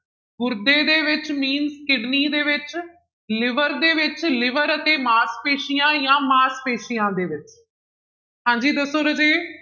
ਗੁਰਦੇ ਦੇ ਵਿੱਚ means kidney ਦੇ ਵਿੱਚ liver ਦੇ ਵਿੱਚ liver ਅਤੇ ਮਾਸਪੇਸੀਆਂ ਜਾਂ ਮਾਸਪੇਸੀਆਂ ਦੇ ਵਿੱਚ ਹਾਂਜੀ ਦੱਸੋ ਰਾਜੇ।